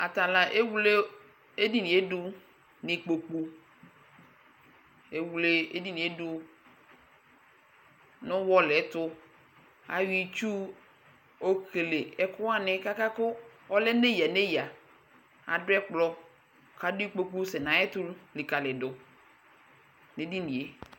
Ata la ewle edini yɛ dʋ nʋ ikpoku Ewle edini yɛ dʋ nʋ ʋwɔlɩ ɛtʋ Ayɔ itsu okele ɛkʋ wanɩ kʋ aka kʋ ɔlɛ nʋ eyǝ nʋ eyǝ Adʋ ɛkplɔ kʋ adʋ ikpoku sɛ nʋ ayɛtʋ likǝlidu nʋ edini yɛ